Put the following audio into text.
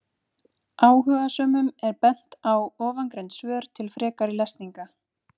Áhugasömum er bent á ofangreind svör til frekari lesningar.